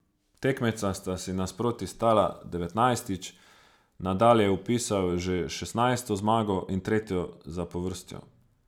Tekmeca sta si nasproti stala devetnajstič, Nadal je vpisal že šestnajsto zmago in tretjo zapovrstjo.